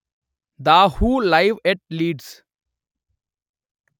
the who live at leads